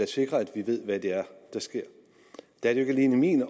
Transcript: sikrer at vi ved hvad det er der sker det er ikke alene min